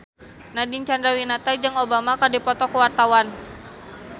Nadine Chandrawinata jeung Obama keur dipoto ku wartawan